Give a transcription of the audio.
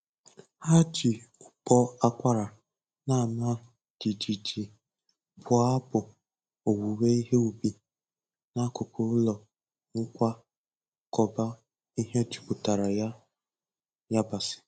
Ha ji ụbọ akwara na-ama jijiji bụọ abụ owuwe ihe ubi n'akụkụ ụlọ nkwakọba ihe jupụtara na yabasị.